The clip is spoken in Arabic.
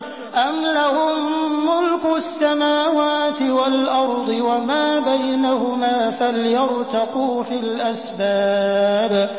أَمْ لَهُم مُّلْكُ السَّمَاوَاتِ وَالْأَرْضِ وَمَا بَيْنَهُمَا ۖ فَلْيَرْتَقُوا فِي الْأَسْبَابِ